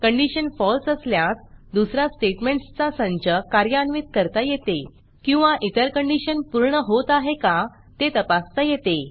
condition falseफॉल्स असल्यास दुसरा स्टेटमेंटसचा संच कार्यान्वित करता येते किंवा इतर कंडिशन पूर्ण होत आहे का ते तपासता येते